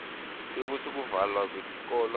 kwekutsi kuvalwa kwetikolo